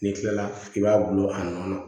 N'i kilala i b'a bulu a nɔ na